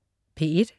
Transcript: P1: